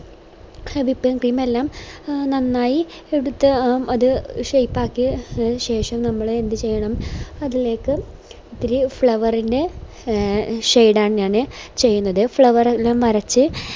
അതിപ്പോ whipping cream എല്ലാം നന്നായി എടുത്ത് ആ അത് shape ആക്കി അതിന് ശേഷം നമ്മള് എന്ത് ചെയ്യണം അതിലേക് ഇത്തിരി flower ൻറെ shade ആണ് ഞാന് ചെയ്യുന്നത് flower എല്ലാം വരച്